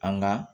An ga